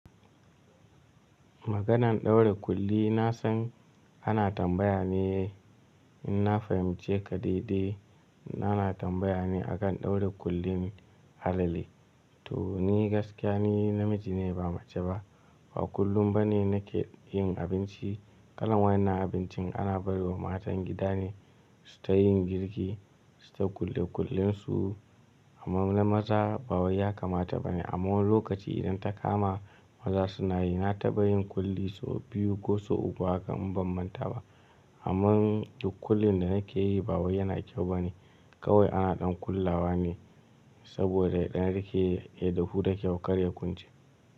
Maganan ɗaura ƙulli na san ana tambaya ne in na fahimci ka daidai. Na na tambaya ne akan ɗaura kullin halale? To ni gaskiya ni namiji ne ba mace ba. Ba kullum ba ne na ke yin abinci. Kalan wayannan abincin ana barwa matan gida ne su ta yin girki, su ta kulle kullensu. Amma na maza ba wai ya kamata ba ne. Amma wani lokaci idan ta kama maza suna yi, na taɓa yin kulli sau biyu ko sau uku haka in ban manta ba. Amman kullin da na ke yi ba wai ya na kyau ba ne. Kawai ana ɗan kullawa ne saboda yaɗan rike ya dahu da kyau, karya kunce.